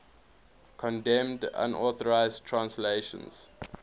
condemned unauthorized translations